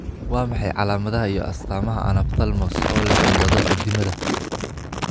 Waa maxay calaamadaha iyo astaamaha Anophthalmos ee leh cillado addimada?